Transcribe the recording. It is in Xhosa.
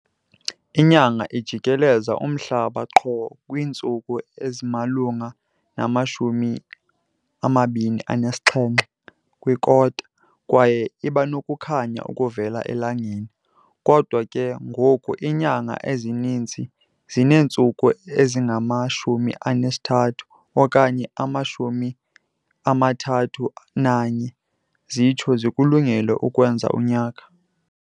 Inyanga ijikeleza umhlaba qho kwiintsuku ezimalunga nama-27⅓, kwaye ibanokukhanya okuvela elangeni. Kodwa ke ngoku iinyanga ezininzi zineentsuku ezingama-30 okanye ama-31 zitsho zikulungele ukwenza unyaka.